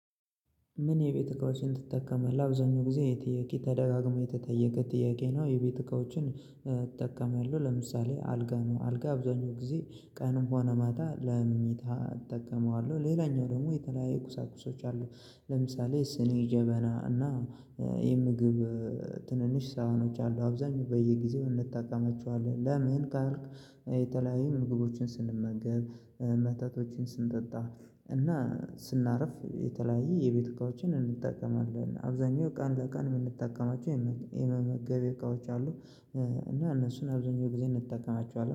ምን የቤት እቃዎችን ትጠቀማለህ አብዛኛው ጊዜ ይህ ጥያቄ ተደጋግሞ የተጠየቀ ጥያቄ ነው? የቤት እቃዎችን እእጠቀማለሁ ለምሳሌ አልጋ ነው አልጋ አብዛኛው ጊዜ ቀን ሆነ ማታ ለምኝታ እጠቀመዋለሁ። ሌላኛው ደግሞ የተለያየ ቁሳቁሶች አሉ። ለምሳሌ ስኔ ጀበና እና እ የምግብ እእ ትንንሽ ሳህኖች አሉ አብዛኛው በየጊዜው እንጠቀማቸዋለን። ለምን ካልክ እ የተለያዩ ምግቦችን ስንመገብ እ መጠጦቶችን ስንጠጣ እና ስናርፍ የተለያየ የቤት እቃዎችን እንጠቀማለን። አብዛኛው ቀን ለቀን የምንጠቀማቸው የመ የመመገቢያ እቃዎች አሉ። እ እና እነሱን አብዛኛው ጊዜ እንጠቀማቸዋለን